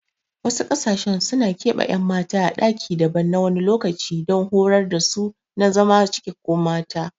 Wasu ƙasashen suna keɓe ƴan mata a ɗaki daban na wani lokaci don horar dasu su zama cikakkun mata